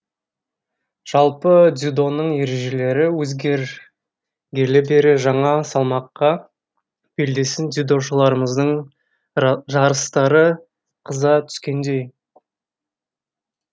жалпы дзюдоның ережелері өзгергелі бері жаңа салмаққа белдесетін дзюдошыларымыздың жарыстары қыза түскендей